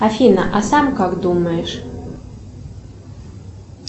афина а сам как думаешь